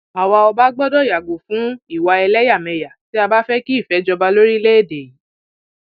àwa ọba gbọdọ yàgò fún ìwà ẹlẹyàmẹyà tí a bá fẹ kí ìfẹ jọba lórílẹèdè yìí